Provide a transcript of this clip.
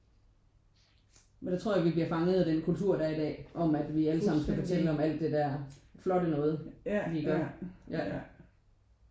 Men der tror jeg vi bliver fanget af den kultur der er i dag om at vi alle sammen skal fortælle om alt det der flotte noget vi gør ja